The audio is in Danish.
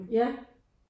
Ja